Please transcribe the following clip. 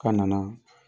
K'a nana